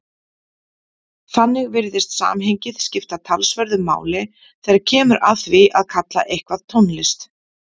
Þannig virðist samhengið skipta talsverðu máli þegar kemur að því að kalla eitthvað tónlist.